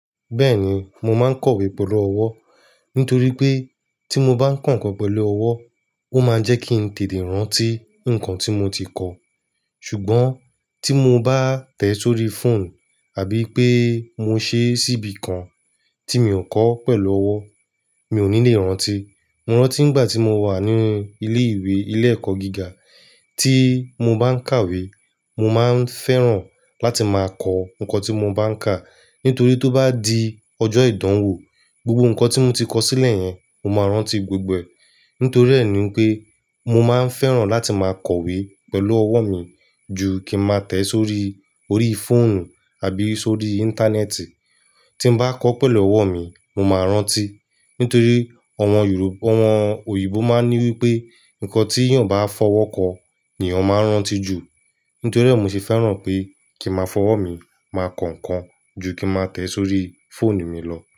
Bẹ́ẹ̀ni, mo máa ń kowe pẹ̀lú ọwọ́. Nítorí pé tí mo bá ń kà ǹkan pẹ̀lú ọwọ́, ó máa ń jẹ́ kí ń tètè rántí ǹkan tí mo ti kọ. Ṣùgbọ́n tí mo bá tẹ̀ẹ́ sórí fóònù àbí pé mo ṣe é síbi kan tí mi ò kọ́ pẹ̀lú ọwọ́, mi ò ní lè rántí. Mo rántí ìgbà tí mo wà ní ilé ìwé ilé ẹ̀kọ́ gíga, tí mo bá ń kàwé, mo máa ń fẹ́ràn láti máa kọ ǹkan tí mo bá ń kà. Nítorí tó bá di ọjọ́ ìdánwò, gbogbo ǹkan tí mo ti kọ sílẹ̀ yẹn, mo máa rántí gbogbo e. Nítorí ẹ̀ ni pé mo máa ń fẹ́ràn láti máa kowe pẹ̀lú ọwọ́ mi ju kí ń má tẹ̀ẹ́ sórí orí fóònù àbí sórí íńtánẹ́ẹ̀tì. Tí mo bá kọ pẹ̀lú ọwọ́ mi, mo máa rántí. Nítorí àwọn Yorù, àwọn òyìnbó máa ń ní wípé, ǹkan tí èèyàn bá fọwọ́ kọ ni èèyàn máa ń rántí jù. Nítorí rẹ̀ mo ṣe fẹ́ràn pé kí máa fọwọ́ mi máa kọ ǹkan ju kí ń má tẹ̀ẹ́ sórí fóònù mi lọ.